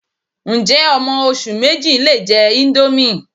Ǹjẹ́ ọmọ oṣù méjì lè jẹ índómì